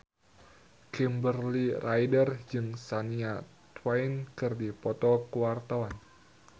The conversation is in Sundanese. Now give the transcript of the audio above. Kimberly Ryder jeung Shania Twain keur dipoto ku wartawan